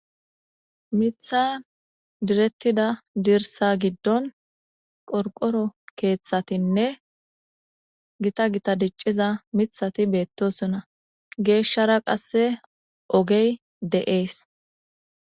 Mitha direttida dirsa giddon qorqoro keeththatinne gita gita dicciza mithati beettosuna geeshshara qasse ogey de'ees.